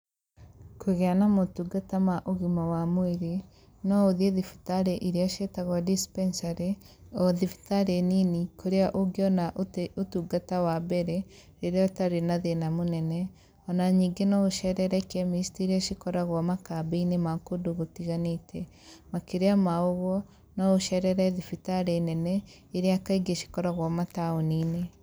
Kũgĩa na motungata ma ũgima wa mwĩrĩ, no ũthiĩ thibitarĩ iria ciĩtagwo dispensary,o thibitarĩ nini kũrĩa ũngĩona ũtĩ ũtungata wa mbere, rĩrĩa ũtarĩ na thĩna mũnene,o na ningĩ no ũcerere chemist iria cikoragwo makambĩ-inĩ ma kũndũ gũtiganĩĩte. Makĩria ma ũguo no ũcerere thibitarĩ nene iria kaingĩ cikoragwo mataũni-inĩ.